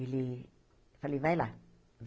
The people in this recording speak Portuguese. Ele... Falei, vai lá.